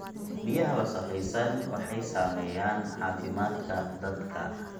Biyaha wasakhaysan waxay saameeyaan caafimaadka dadka.